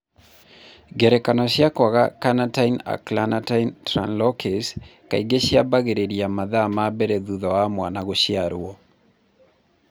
Ngerekano cia kwaga carnitine acylcarnitine translocase kaingĩ ciambagĩrĩria mathaa ma mbere thutha wa mwana gũciarũo.